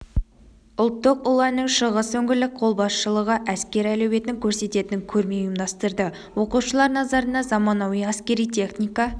ұлттық ұланның шығыс өңірлік қолбасшылығы әскер әлеуетін көрсететін көрме ұйымдастырды оқушылар назарына заманауи әскери техника